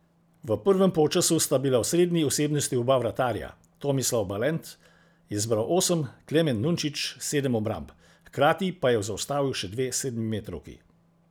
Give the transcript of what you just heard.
V prvem polčasu sta bila osrednji osebnosti oba vratarja, Tomislav Balent je zbral osem, Klemen Nunčič sedem obramb, hkrati pa je zaustavil še dve sedemmetrovki.